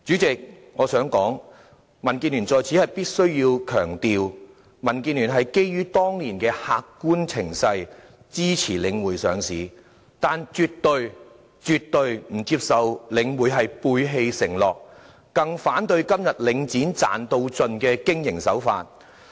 代理主席，我在此必須強調，民建聯是基於當年的客觀情勢，支持領匯上市，但絕對不接受領匯背棄承諾，更反對今天領展賺到盡的經營手法。